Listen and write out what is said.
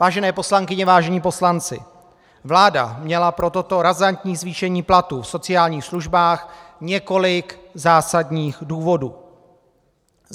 Vážené poslankyně, vážení poslanci, vláda měla pro toto razantní zvýšení platů v sociálních službách několik zásadních důvodů.